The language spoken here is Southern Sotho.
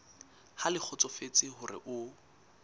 ha le kgotsofetse hore o